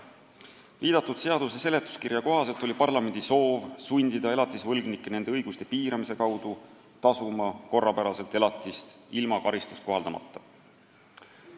Viidatud seaduse eelnõu seletuskirja kohaselt oli parlamendi soov sundida elatisvõlgnikke nende õiguste piiramise abil elatist korrapäraselt maksma, ilma et tuleks karistust kohaldada.